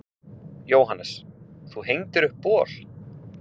Jóhannes: Þú hengdir upp bol?